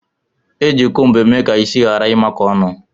Eji cómbu eme ka isi ghara imako ọnụ.